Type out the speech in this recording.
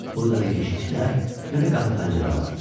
Burda nə keşikçilər, nə də qapı-pəncərə vardı.